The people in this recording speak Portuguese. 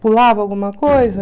Pulava alguma coisa.